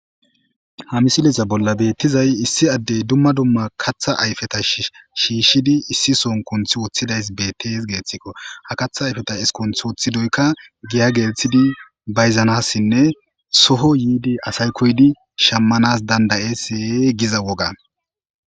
Ha misilesa bolla beettizay issi addey dumma dumma katha ayfeta shiishshidi issi son kunth woththidays bettes geeththikko ha katha ayfeta eskunth wothi doykka giya geelthidi bayzanassinne soho yiidi asaykoydi shammanas dandayesse giza wogan.